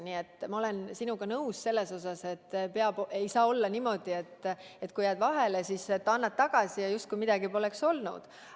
Nii et ma olen sinuga nõus selles: ei saa olla niimoodi, et kui jääd vahele, siis annad tagasi ja justkui midagi poleks olnud.